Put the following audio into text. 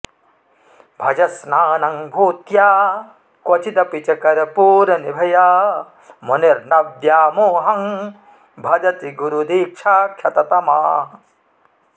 भजन्स्नानं भूत्या क्वचिदपि च कर्पूरनिभया मुनिर्न व्यामोहं भजति गुरुदीक्षाक्षततमाः